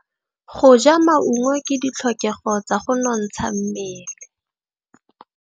Go ja maungo ke ditlhokegô tsa go nontsha mmele.